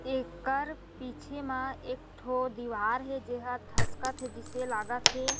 एकर पीछे म एक ठो दिवार हे जे ह धसकत हे जिसे लागत हे।